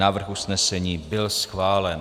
Návrh usnesení byl schválen.